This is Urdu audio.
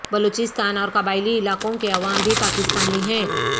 بلوچستان اور قبائلی علاقوں کے عوام بھی پاکستانی ہیں